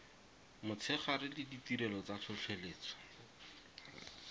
motshegare le ditirelo tsa tlhotlheletso